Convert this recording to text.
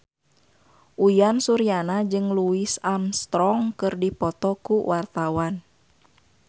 Uyan Suryana jeung Louis Armstrong keur dipoto ku wartawan